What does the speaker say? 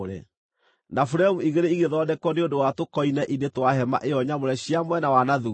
na buremu igĩrĩ igĩthondekwo nĩ ũndũ wa tũkoine-inĩ twa hema ĩyo nyamũre cia mwena wa na thuutha.